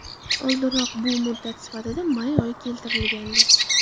Oldinroq bu muddat sifatida may oyi keltirilgandi .